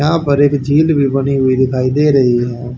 यहां पर एक झील भी बनी हुई दिखाई दे रही है।